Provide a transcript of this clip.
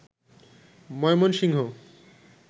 Mymensingh